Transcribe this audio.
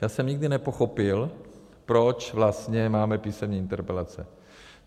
Já jsem nikdy nepochopil, proč vlastně máme písemné interpelace.